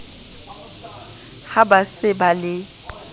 ha ba se ba le